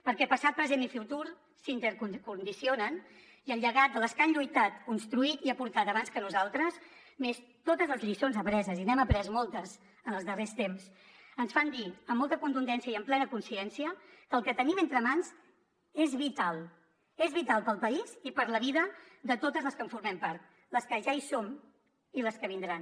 perquè passat present i futur s’intercondicionen i el llegat de les que han lluitat construït i aportat abans que nosaltres més totes les lliçons apreses i n’hem après moltes en els darrers temps ens fan dir amb molta contundència i amb plena consciència que el que tenim entre mans és vital és vital per al país i per a la vida de totes les que en formem part les que ja hi som i les que vindran